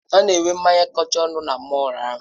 Ha na-enwe mmanya kacha ọnụ na mọll ahụ.